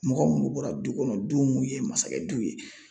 Mɔgɔ munnu bɔra du kɔnɔ du mun ye masakɛ du ye